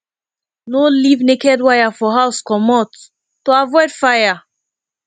no leave naked wire for house comot to avoid fire